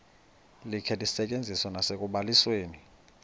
likhe lisetyenziswe nasekubalisweni